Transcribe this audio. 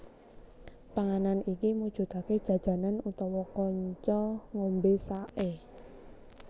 Panganan iki mujudake jajanan utawa kanca ngombe sake